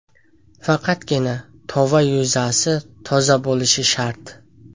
Faqatgina tova yuzasi toza bo‘lishi shart.